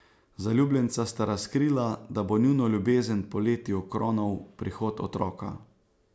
Zaljubljenca sta razkrila, da bo njuno ljubezen poleti okronal prihod otroka.